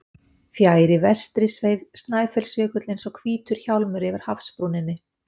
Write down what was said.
Fjær í vestri sveif Snæfellsjökull eins og hvítur hjálmur yfir hafsbrúninni.